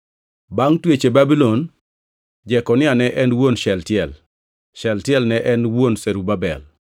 Bangʼ twech e Babulon: Jekonia ne en wuon Shealtiel, Shealtiel ne en wuon Zerubabel,